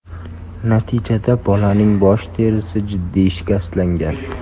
Natijada bolaning bosh terisi jiddiy shikastlangan.